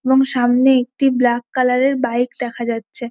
এবং সামনে একটি ব্ল্যাক কালার এর বাইক দেখা যাচ্ছে।